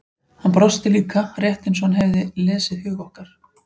Hann brosti líka, rétt eins og hann hefði lesið hug okkar.